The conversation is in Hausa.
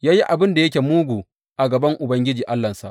Ya yi abin da yake mugu a gaban Ubangiji Allahnsa.